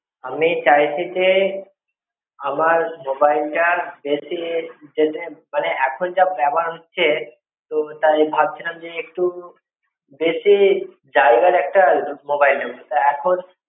আমি ছাইছি যে, আমার mobile টা বেশি যাতে মানে এখন যা ব্যবহার হচ্ছে, তো তাই ভাবছিলাম যে একটু বেশি জায়গার একটা mobile নেব। তা এখন